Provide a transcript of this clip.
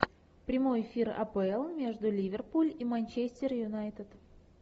прямой эфир апл между ливерпуль и манчестер юнайтед